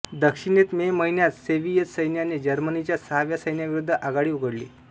दक्षिणेत मे महिन्यात सोव्हियेत सैन्याने जर्मनीच्या सहाव्या सैन्याविरुद्ध आघाडी उघडली